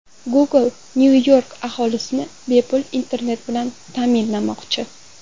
Google Nyu-York aholisini bepul internet bilan ta’minlamoqchi.